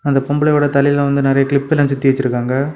அந்தப் பொம்பளையோட தலையில வந்து நறைய கிளிப்லாம் சுத்தி வச்சிருக்காங்க.